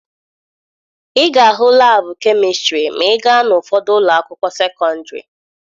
Ị ga-ahụ laabụ kemistịrị ma ị gaa n'ụfọdụ ụlọ akwụkwọ sekọndịrị.